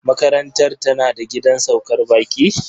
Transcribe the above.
Makarantar tana da gidan saukar baƙi?